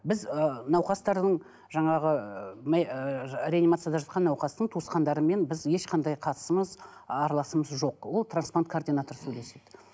біз ы науқастардың жаңағы ы ыыы реанимацияда жатқан науқастың туысқандарымен біз ешқандай қатысымыз араласымыз жоқ ол трансплант координатор сөйлеседі